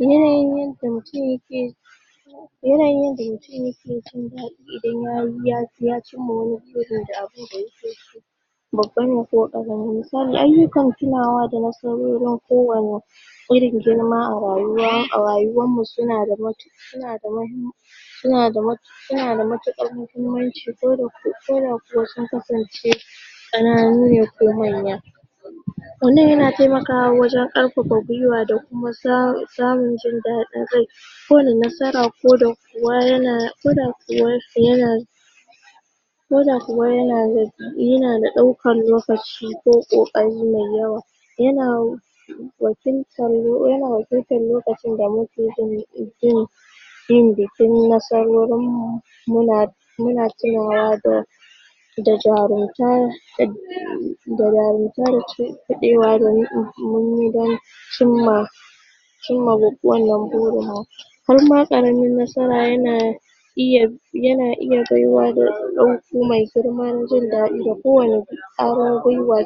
Yanayin yanda mutum yake Yanayin da mutum yake ji idan ya cimma wani gurin da abun da babba ne ko ƙarami. Misali ayyukan kulawa da nasarorin kowanne irin girma a rayuwa, a rayuwarmu suna da mahimmanci suna da matuƙar Suna da matuƙar muhimmanci ko da kuwa sun kasance ƙananu ne ko manya. Wannan yana taimakawa wajen ƙarfafa guiwa da kuma samun jin daɗin rai ko da nasara ko da kuwa yana ko da kuwa yana ko da kuwa yana da ɗaukar lokaci ko ƙoƙari mai yawa. Yana wakiltar yana wakiltar lokacin da wakilatar lokacin da muke ji bin da nasarorin mu. muna tunawa da da jarumta da jarumta da da cinkudewa da muka yi don wajen cimma cimma wannan burin mu. Har ma da ƙaramar nasara yana iya yana iya girnma da jin daɗi na kowane ƙwarin guiwa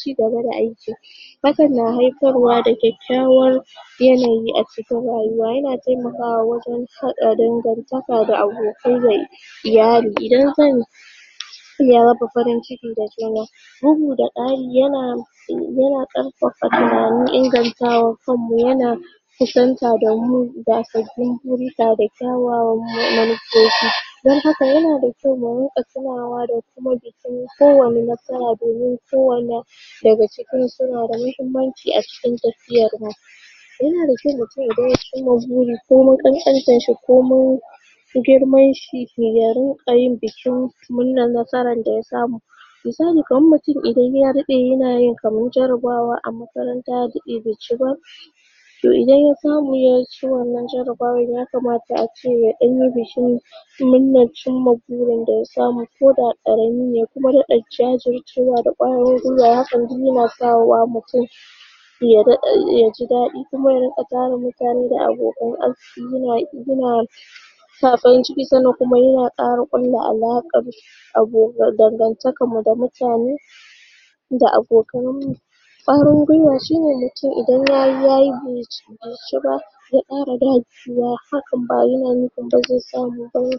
ci gaba da aikin hakan na haifar wa da kyakkyawar yanayi a cikin rayuwa. Yana taimakawa wajen haɗa dangantaka da abokai da iyali. Idan zan zan sanya maka farin ciki da suna. Bugu da ƙara yana ƙarfafa bayanan ingantawa kanmu yana. kusanta domin sabbin guri ta re da kyawawan manufofi. Don haka yana da kyau mu rinƙa tunawa da kuma bikin kowanne nasara domin kowane daga ciki suna da muhimmanci a cikin tafiyarmu. yana da kyau mutum ya dawo cimma buri komai ƙanƙantarshi komai girman shi ya rinƙa yin bikin murnar nasarar da ya samu Misali kamar mutum idan ya daɗe yanayin kamar jarabawa a makaranta ya daɗe bai ci ba. to idan ya samu ya ci wanna jarabawar ya kamata ace ya ɗan yi bikin murnar cimma burin da samu ko da ƙarami ne ya kuma daɗa jajircewa da ƙwarin guiwa hakan duk yana sa wa mutum ya daɗa ya ji daɗi kuma ya riƙa tara mutane da abokan arziƙi yana sa farin ciki sannan kuma yana ƙara alaƙar dangantakarmu da mutane da abokanin mu ƙwarin guiwa shi ne mutum idan ya yi ya yi bai ci ba zai ƙara dagewa hakan ba yana nufin ba zai samu ba ne.